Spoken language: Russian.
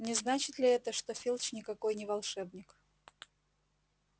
не значит ли это что филч никакой не волшебник